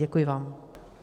Děkuji vám.